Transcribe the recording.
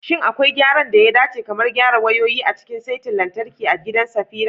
Shin akwai gyaran da ya dace, kamar gyara wayoyin, a cikin saitin lantarki a gidan Safira?